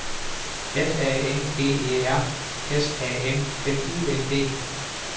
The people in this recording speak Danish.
F A N G E R S A M F U N D